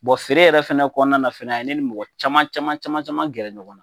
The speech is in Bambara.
feere yɛrɛ fana kɔnɔna fana a ye ne ni mɔgɔ caman caman caman caman gɛrɛ ɲɔgɔn na